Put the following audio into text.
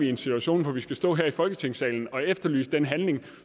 den situation hvor vi skal stå her i folketingssalen og efterlyse den handling